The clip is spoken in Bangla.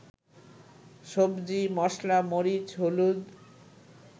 সবজি, মসলা, মরিচ, হলুদ